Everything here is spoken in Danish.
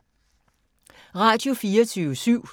Radio24syv